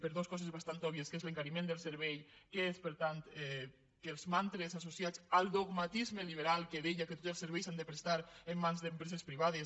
per dos coses bastant òbvies que és l’encariment del servei que és per tant que els mantres associats al dogmatisme liberal que deia que tots els serveis s’han de prestar en mans d’empreses privades